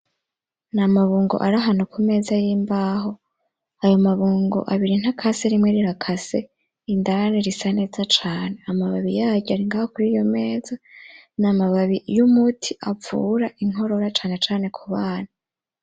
N'amabungo arahantu kumeza y'imbaho. Ayo mabungo abiri ntakase rimwe rirakase indani risaneza cane. Amababi yayo aringaho kuriyo meza n'amababi y'umuti avura inkorora cane cane kubana.